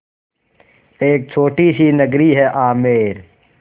एक छोटी सी नगरी है आमेर